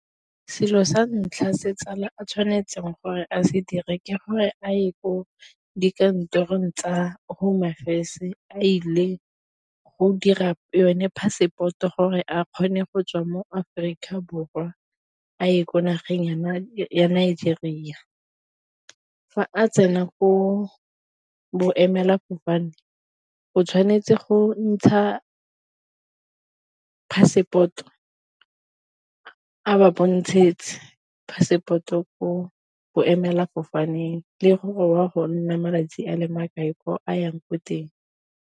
Selo sa ntlha se tsala a tshwanetseng gore a se dire ke gore a ye ko dikantorong tsa home affairs a ile go dira yone passport-o gore a kgone go tswa mo Aforika Borwa a ye ko nageng ya Nigeria, fa a tsena ko boemelafofane go tshwanetse go ntsha passport a ba passport-o ko boemela fofaneng le go wa go nna malatsi a le makae ko a yang ko teng.